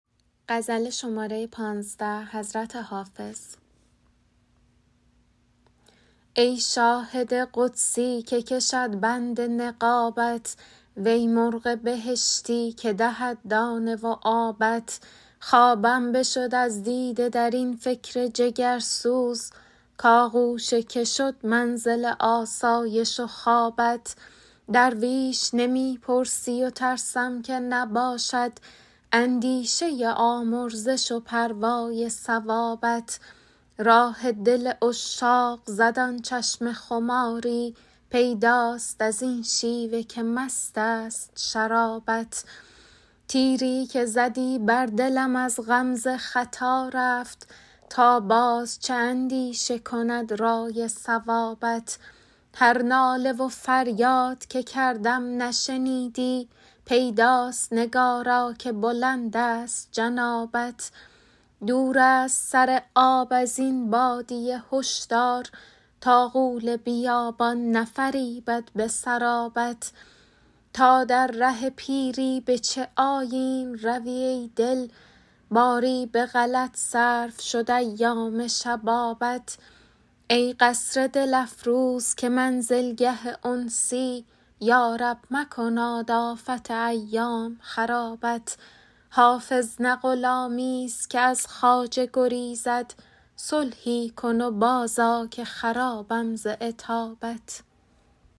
ای شاهد قدسی که کشد بند نقابت وی مرغ بهشتی که دهد دانه و آبت خوابم بشد از دیده در این فکر جگرسوز کآغوش که شد منزل آسایش و خوابت درویش نمی پرسی و ترسم که نباشد اندیشه آمرزش و پروای ثوابت راه دل عشاق زد آن چشم خماری پیداست از این شیوه که مست است شرابت تیری که زدی بر دلم از غمزه خطا رفت تا باز چه اندیشه کند رأی صوابت هر ناله و فریاد که کردم نشنیدی پیداست نگارا که بلند است جنابت دور است سر آب از این بادیه هشدار تا غول بیابان نفریبد به سرابت تا در ره پیری به چه آیین روی ای دل باری به غلط صرف شد ایام شبابت ای قصر دل افروز که منزلگه انسی یا رب مکناد آفت ایام خرابت حافظ نه غلامیست که از خواجه گریزد صلحی کن و بازآ که خرابم ز عتابت